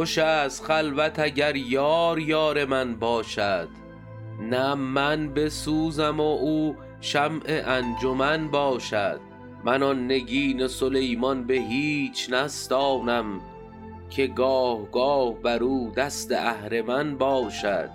خوش است خلوت اگر یار یار من باشد نه من بسوزم و او شمع انجمن باشد من آن نگین سلیمان به هیچ نستانم که گاه گاه بر او دست اهرمن باشد